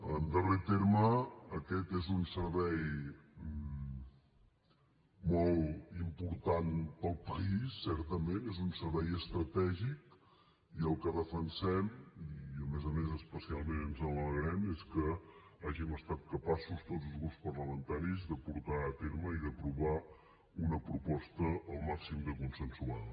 en darrer terme aquest és un servei molt important per al país certament és un servei estratègic i el que defensem i a més a més especialment ens n’alegrem és que hàgim estat capaços tots els grups parlamentaris de portar a terme i d’aprovar una proposta al màxim de consensuada